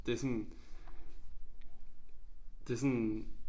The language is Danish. Det sådan det sådan